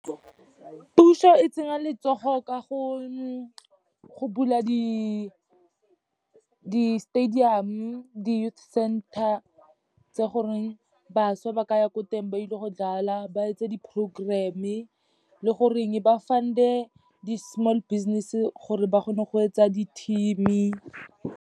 Puso e tsenya letsogo ka go bula di-stadium-o, di-youth center tse goreng bašwa ba ka ya ko teng ba ile go dlala, ba etse di-program-e, le goreng ba fund-e di-small business-e gore ba kgone go etsa di-team-e.